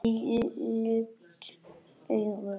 Lukt augu